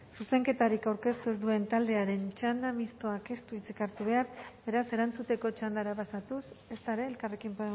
zuzenketarik aurkeztu ez duen taldearen txandan mistoak ez du hitzik hartu behar beraz erantzuteko txandara pasatuz ezta ere elkarrekin